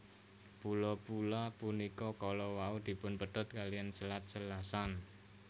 Pulo pula punika kala wau dipunpedhot kaliyan Selat Selasan